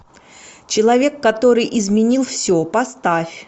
человек который изменил все поставь